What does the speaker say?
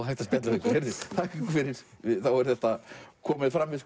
hægt að spjalla við okkur þakka ykkur fyrir þá er þetta komið fram við